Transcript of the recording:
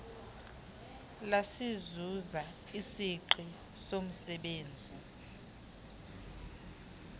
lasizuza isingqi somzebenzi